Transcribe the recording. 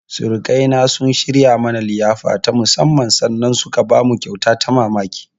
Surukaina sun shirya mana liyafa ta musammman sannan suka bamu kyauta ta ban mamamki.